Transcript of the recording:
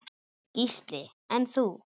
Gísli: En þú?